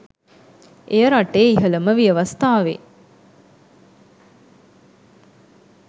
එය රටේ ඉහළම ව්‍යවස්ථාවේ